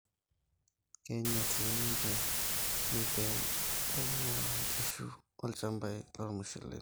keinyal sii ninche methane loingua nkishu olchambai loo ilmusheleni